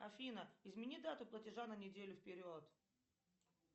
афина измени дату платежа на неделю вперед